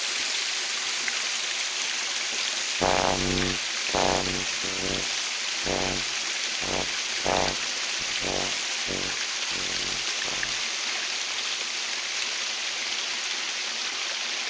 Samband íslenskra berklasjúklinga